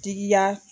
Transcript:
Digiya